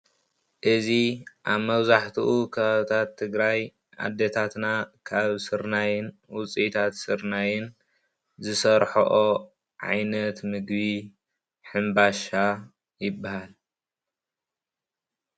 እዚ ኣብ መብዛሕትኡ ከባብታት ትግራይ ኣዴታትና ካብ ስርናይ ውፅኢታት ስርናይን ዝሰርሕኦ ዓይነት ምግቢ ሕንባሻ ይበሃል::